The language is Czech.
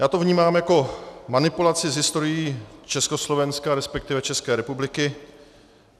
Já to vnímám jako manipulaci s historií Československa, respektive České republiky.